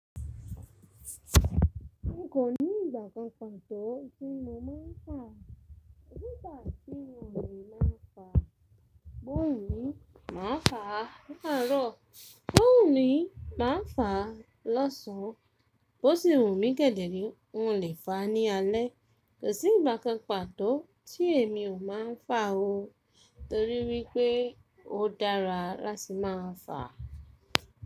Nko ní ìgbà kan pàtó tí mo máa ń fa. Nígbà tí wọ̀lì máa ń fà, bó ìwọ̀lì máa ń fà ní àárọ̀, bó ìwọ̀lì máa ń fà lọ́sàn án, bó sì wù mí gẹ́gẹ́ ní wọ́n lè fà á ní alé. Kò sí ìgbà kan pàtó tí èmi ò máa ń fà o torí wípé ó dára láti máa fà.